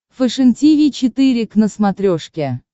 фэшен тиви четыре к на смотрешке